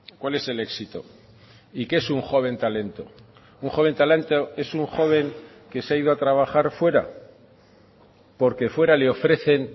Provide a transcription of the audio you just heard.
cuál es el éxito y qué es un joven talento un joven talento es un joven que se ha ido a trabajar fuera porque fuera le ofrecen